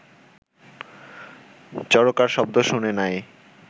চরকার শব্দ শুনে নাই